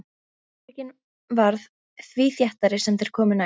Mannþröngin varð því þéttari sem þeir komu nær.